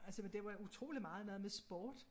Altså men det var utroligt meget noget med sport